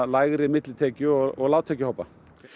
lægri millitekju og lágtekjuhópa